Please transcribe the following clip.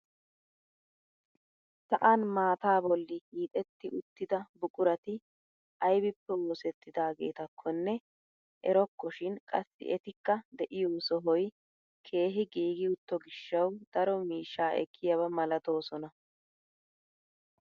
Sa'an maataa bolli hiixetti uttida buqurati aybippe oosettidaagetakonne erokko shin qassi etikka deiyoo sohoy keehi giigi utto gishshawu daro miishshaa ekkiyaaba malatoosona.